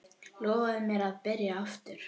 Lofaðu mér að byrja aftur!